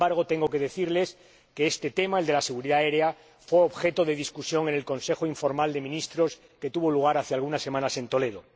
Sin embargo, tengo que decirles que este tema, el de la seguridad aérea, fue objeto de discusión en el Consejo informal de Ministros que tuvo lugar hace algunas semanas en Toledo.